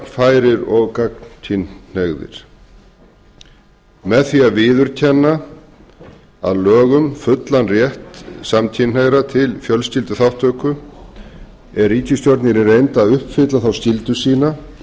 alveg jafnfærir og gagnkynhneigðir með því að viðurkenna að lögum fullan rétt samkynhneigðra til fjölskylduþátttöku er ríkisstjórnin í reynd að uppfylla þá skyldu sína